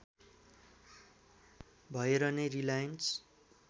भएर नै रिलायन्स